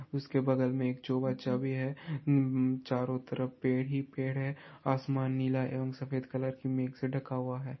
उसके बगल मैं एक भी है | चारो तरह पेड़ ही पेड़ है आसमान नीला एवं सफेत कलर की मेघ से ढ़का हुआ है